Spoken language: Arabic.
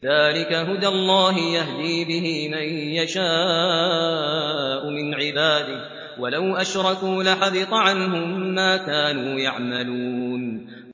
ذَٰلِكَ هُدَى اللَّهِ يَهْدِي بِهِ مَن يَشَاءُ مِنْ عِبَادِهِ ۚ وَلَوْ أَشْرَكُوا لَحَبِطَ عَنْهُم مَّا كَانُوا يَعْمَلُونَ